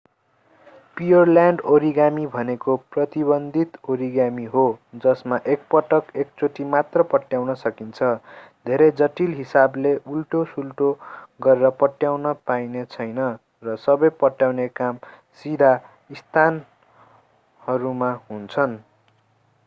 पिओरल्यान्ड origami भनेको प्रतिबन्धित origami हो जसमा एकपटकमा एक चोटि मात्र पट्याउन सकिन्छ धेरै जटिल हिसाबले उल्टोसुल्टो गरेर पट्याउन पाइने छैन र सबै पट्याउने काम सीधा स्थानहरूमा हुन्छन्